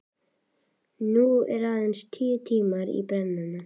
Nú eru aðeins tíu tímar í brennuna.